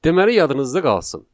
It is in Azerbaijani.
Deməli, yadınızda qalsın.